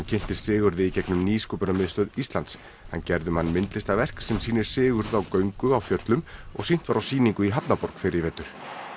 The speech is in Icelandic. kynntist Sigurði í gegnum Nýsköpunarmiðstöð Íslands hann gerði um hann myndlistarverk sem sýnir Sigurð á göngu á fjöllum og sýnt var á sýningu í hafnarborg fyrr í vetur